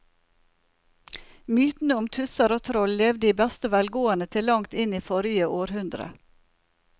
Mytene om tusser og troll levde i beste velgående til langt inn i forrige århundre.